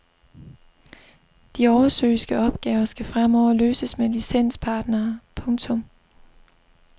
De oversøiske opgaver skal fremover løses med licenspartnere. punktum